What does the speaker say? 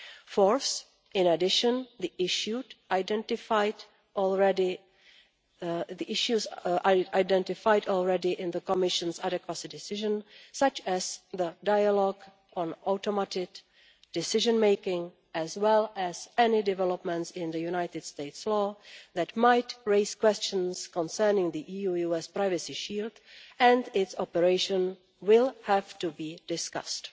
Fourth, in addition, in the issues identified already in the Commission's adequacy decision, such as the dialogue on automated decision making, as well as any developments in the United States law that might raise questions concerning the EU US privacy shield and its operation, will have to be discussed.